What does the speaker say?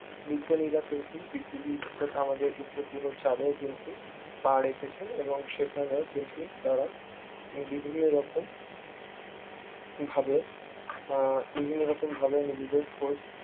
বিজ্ঞানীরা কিন্তু পৃথিবীর অর্থাৎ আমাদের উপগ্রহ চাঁদেও কিন্তু পা রেখেছেন এবং সেখানেও কিন্তু তারা বিভিন্ন রকম ভাবে আহ বিভিন্ন রকম ভাবে আহ বিভিন্ন রকম ভাবে নিজেদের খোঁজ